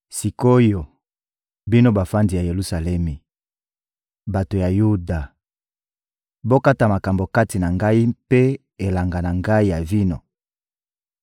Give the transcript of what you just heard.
Sik’oyo, bino bavandi ya Yelusalemi, bato ya Yuda, bokata makambo kati na ngai mpe elanga na ngai ya vino!